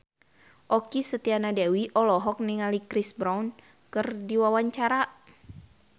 Okky Setiana Dewi olohok ningali Chris Brown keur diwawancara